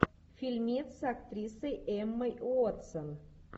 фильмец с актрисой эммой уотсон